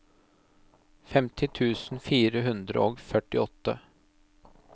femti tusen fire hundre og førtiåtte